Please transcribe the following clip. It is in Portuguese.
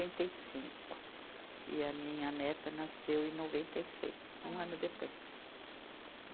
e cinco. E a minha neta nasceu em noventa e seis, um ano depois.